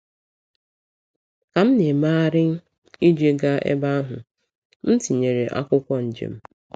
Ka m na-emegharị iji gaa ebe ahụ, m tinyere akwụkwọ njem.